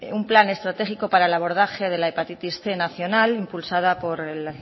un plan estratégico para el abordaje de la hepatitis cien nacional impulsada por el